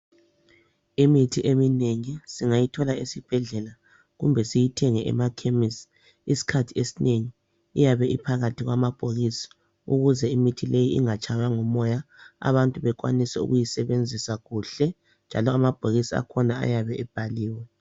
Imithi eminengi singayithola esibhedlela kumbe siyithenge emakhemisi .Isikhathi esinengi iyabe iphakathi kwamabhokisi ukuze imithi leyi ingatshaywa ngumoya abantu bekwanise ukuyisebenzisa kuhle njalo amabhokisi akhona ayabe ebhaliwe.